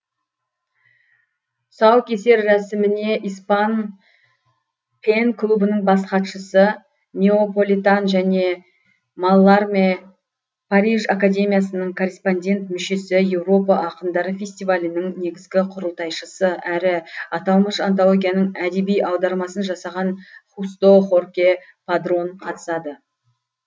тұсаукесер рәсіміне испан пен клубының бас хатшысы неополитан және малларме париж академиясының корреспондент мүшесі еуропа ақындары фестивалінің негізгі құрылтайшысы әрі аталмыш антологияның әдеби аудармасын жасаған хусто хорке падрон қатысады